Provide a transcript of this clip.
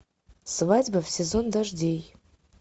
свадьба в сезон дождей